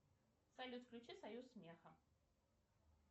салют включи союз смеха